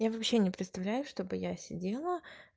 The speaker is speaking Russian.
я вообще не представляю чтобы я сидела